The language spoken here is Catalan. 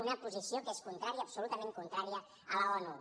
una posició que és contrària absolutament contrària a l’onu